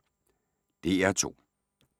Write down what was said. DR2